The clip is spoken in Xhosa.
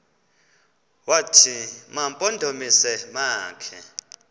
wathi mampondomise makhe